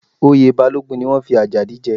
Oyè Balógun ni wọ́n fi Adigun jẹ